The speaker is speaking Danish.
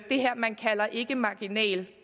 her man kalder ikkemarginal